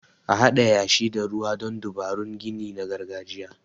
A Haɗa yashi da ruwa don dabarun gini na gargajiya.